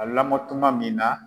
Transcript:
A lamɔtuma min na